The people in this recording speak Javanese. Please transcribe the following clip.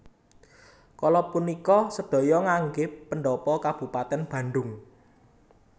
Kala punika sedaya nganggé pendhapa kabupatèn Bandhung